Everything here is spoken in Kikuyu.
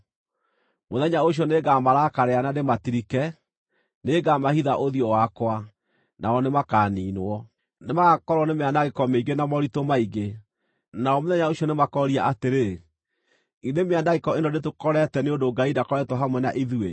Mũthenya ũcio nĩngamarakarĩra na ndĩmatirike; nĩngamahitha ũthiũ wakwa, nao nĩmakaniinwo. Nĩmagakorwo nĩ mĩanangĩko mĩingĩ na moritũ maingĩ, nao mũthenya ũcio nĩ makooria atĩrĩ, ‘Githĩ mĩanangĩko ĩno ndĩtũkorete nĩ ũndũ Ngai ndakoretwo hamwe na ithuĩ?’